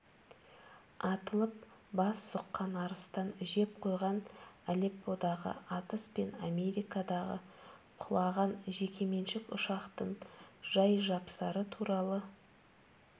атылып бас сұққан арыстан жеп қойған алепподағы атыс пен америкадағы құлаған жекеменшік ұшақтың жай-жапсары туралы